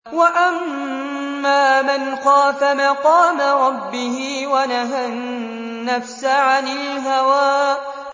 وَأَمَّا مَنْ خَافَ مَقَامَ رَبِّهِ وَنَهَى النَّفْسَ عَنِ الْهَوَىٰ